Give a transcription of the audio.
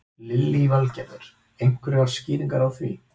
Lillý Valgerður: Einhverjar skýringar á því?